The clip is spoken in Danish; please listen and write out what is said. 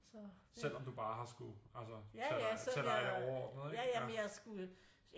Selvom du bare har skulle altså tage dig tage dig af det overordnede ikke